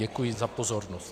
Děkuji za pozornost.